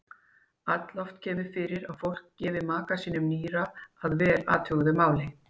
Alloft kemur fyrir að fólk gefi maka sínum nýra að vel athuguðu máli.